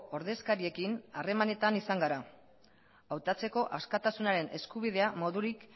ordezkariekin harremanetan izan gara hautatzeko askatasunaren eskubidea moduren